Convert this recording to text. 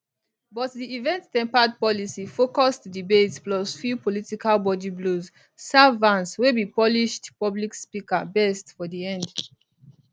but di eventempered policyfocused debate plus few political body blows serve vance wey be polished public speaker best for di end